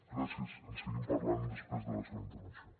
gràcies en seguim parlant després de la seva intervenció